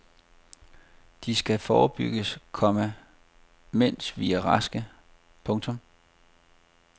De skal forebygges, komma mens vi er raske. punktum